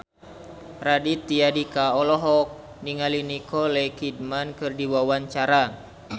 Raditya Dika olohok ningali Nicole Kidman keur diwawancara